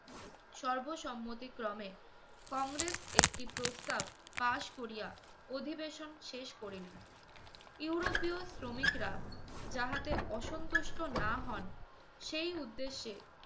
সর্বসম্মতিক্রমে কংগ্রেস একটি প্রস্তাব পাস করিয়া অধিবেশন শেষ করিলেন। ইউরোপীয় শ্রমিকরা যাহাতে অসন্তুষ্ট না হন সেই উদ্দেশ্যে